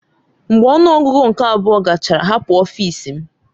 Mgbe ọnụ ọgụgụ nke abụọ gachara hapụ ọfịs m!